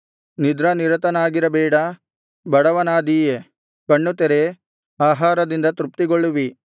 ನಿದ್ರಾನಿರತನಾಗಿರಬೇಡ ಬಡವನಾದೀಯೆ ಕಣ್ಣು ತೆರೆ ಆಹಾರದಿಂದ ತೃಪ್ತಿಗೊಳ್ಳುವಿ